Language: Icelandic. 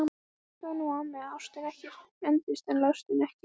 Hlustaðu nú á mig: Ástin endist en lostinn ekki!